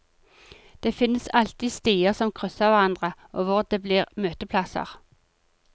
Det finnes alltid stier som krysser hverandre, og hvor det blir møteplasser.